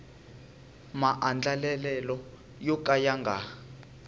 maandlalelo yo ka ya nga